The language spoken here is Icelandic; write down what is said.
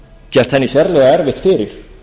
gert henni sérlega erfitt fyrir